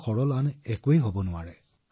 আজি প্ৰায় ২০ বছৰ হল মহোদয় মই ইয়াত আছো